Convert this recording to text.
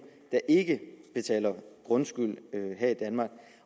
der ikke betaler grundskyld her i danmark